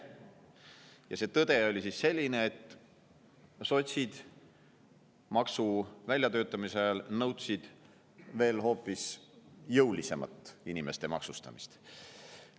Ja tõde on siis selline, et maksu väljatöötamise ajal nõudsid sotsid veel jõulisemat inimeste maksustamist.